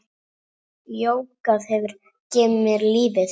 Jógað hefur gefið mér lífið.